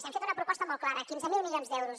hem fet una proposta molt clara quinze mil milions d’euros